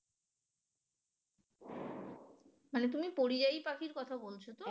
মানে তুমি পরিযায়ী পাখির কথা বলছো তো?